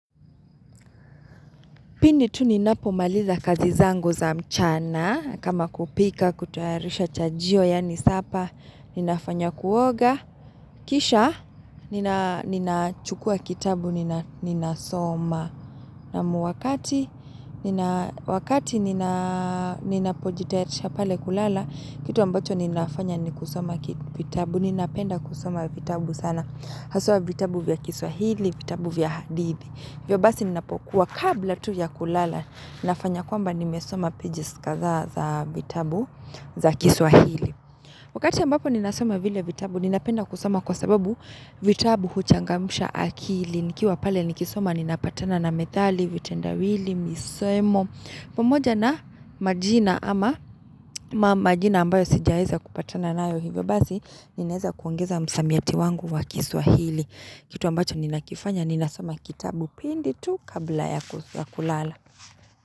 Pindi tu ninapo maliza kazi zangu za mchana kama kupika kutawarisha chajio yani sapa ninafanya kuoga. Kisha ninachukua kitabu ninasoma naam wakati ninapojitasha pale kulala kitu ambacho ninafanya ni kusoma kitabu. Ninapenda kusoma kitabu sana. Haswa kitabu vya kiswahili, kitabu vya hadithi. Ivyo basi ninapokuwa kabla tu ya kulala nafanya kwamba nimesoma pages kadhaa za vitabu za kiswahili Wakati ambapo ninasoma vile vitabu ninapenda kusoma kwa sababu vitabu huchangamsha akili Nikiwa pale nikisoma ninapatana na methali, vitenda wili, misemo Pomoja na majina ama majina ambayo sijaeza kupatana na ivyo basi Ninaeza kuongeza msamiati wangu wa kiswahili kitu ambacho ni nakifanya ni nasoma kitabu pindi tu kabla ya kulala.